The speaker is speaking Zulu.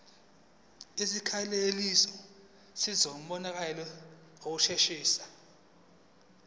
izikhalazo zizobonelelwa ngokushesha